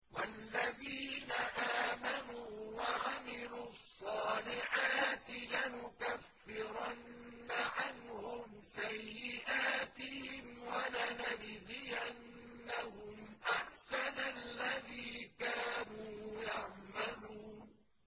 وَالَّذِينَ آمَنُوا وَعَمِلُوا الصَّالِحَاتِ لَنُكَفِّرَنَّ عَنْهُمْ سَيِّئَاتِهِمْ وَلَنَجْزِيَنَّهُمْ أَحْسَنَ الَّذِي كَانُوا يَعْمَلُونَ